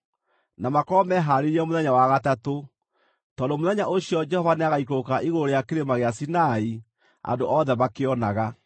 na makorwo mehaarĩirie mũthenya wa gatatũ, tondũ mũthenya ũcio Jehova nĩagaikũrũka igũrũ rĩa Kĩrĩma gĩa Sinai andũ othe makĩonaga.